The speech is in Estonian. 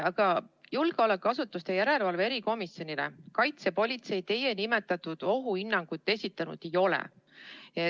Aga julgeolekuasutuste järelevalve erikomisjonile Kaitsepolitseiamet teie nimetatud ohuhinnangut esitanud ei ole.